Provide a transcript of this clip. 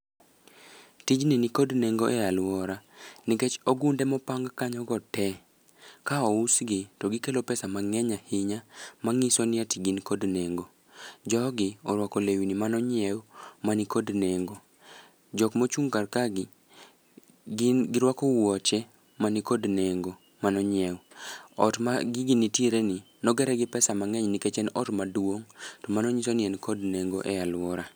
Tijni nikod nengo e alwora nikech ogunde mopang kanyo go te ka ousgi to gikelo pesa mang'eny ahinya, mang'iso ni ati gin kod nengo. Jogi orwako lewni manonyiew, manikod nengo. Jok mochung' kar kae gi, gin girwako wuoche manikod nengo manonyiew. Ot ma gigi nitiere ni, nogere gi pesa mang'eny nikech en ot maduong. Man nyiso ni en kod nengo e alwora.